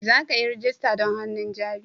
Za ka yi rajista don hannun jari?